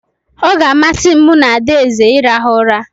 Ọ ga-amasị m mụ na adaeze irahu ụra